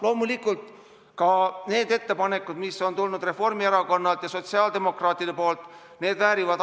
Loomulikult väärivad ka need ettepanekud, mis on tulnud Reformierakonnalt ja sotsiaaldemokraatidelt, arutamist.